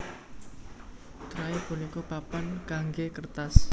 Tray punika papan kanggé kertas